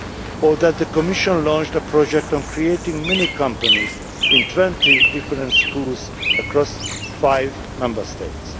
or that the Commission launched a project on creating companies in 20 different schools across five Member States?